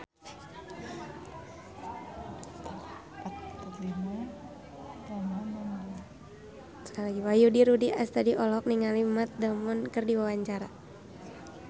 Wahyu Rudi Astadi olohok ningali Matt Damon keur diwawancara